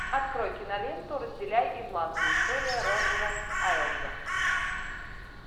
открой киноленту разделяй и властвуй история роджера эйлза